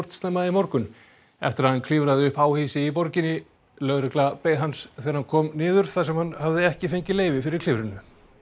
snemma í morgun eftir að hann klifraði upp háhýsi í borginni lögregla beið hans þegar hann kom niður þar sem hann hafði ekki fengið leyfi fyrir klifrinu